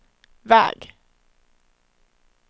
väg